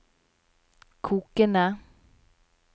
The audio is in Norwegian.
kokende